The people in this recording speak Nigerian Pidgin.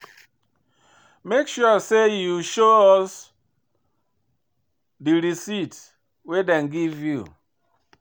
Make sure sey you show us di receipt wey dem give you.